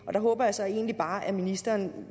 håber jeg så egentlig bare at ministeren